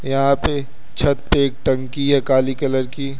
यहां पे छत पे एक टंकी है काली कलर की--